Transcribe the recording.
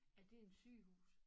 Er det et sygehus